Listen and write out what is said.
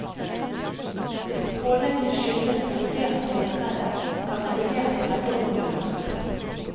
Hvis pålegget skyldes regulert veibredde, kan regulert bredde omgjøres.